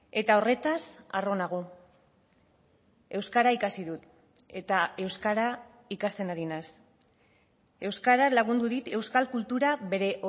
eta horretaz harro nago euskara ikasi dut eta euskara ikasten ari naiz euskara lagundurik euskal kultura bere